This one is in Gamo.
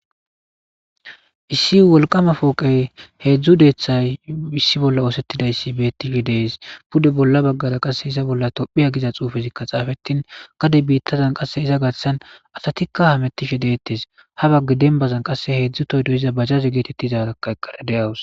issi wolqama fooqey heedzdzu deethay issi bolla oosettidayssi beettishe dees pude bolla baggara qasse iza bolla tophiya giza xuufezikka xaafetin gade biittazan qasse iza gatsan asatikka hamettishe deettes ha bagga denbazan qasse heedzdzu toy doyiza bajaze geetettizaarakaeqqara deawus